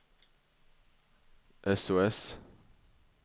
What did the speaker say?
sos